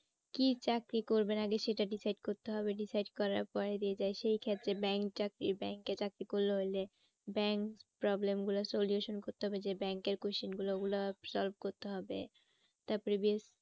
কি চাকরি করবেন আগে সেটা decide করতে হবে। decide করার পরে সেই ক্ষেত্রে bank টাকে bank এ চাকরি করলে bank problem গুলোর solution করতে হবে যে bank এর question গুলো ওগুলো solve করতে হবে